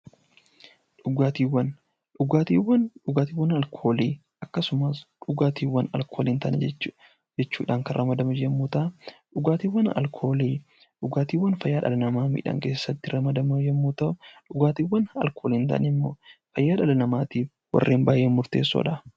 Dhugaatiiwwan Dhugaatiiwwan, dhugaatiiwwan alkoolii akkasumas dhugaatiiwwan alkoolii hin taane jechuudhaan kan ramadaman yommuu ta'an, dhugaatiiwwan alkoolii dhugaatiiwwan fayyaa dhala namaa miidhan keessatti ramadaman yommuu ta'u, dhugaatiiwwan alkoolii hin taane immoo fayyaa dhala namaatiif baay'ee murteessoo dha.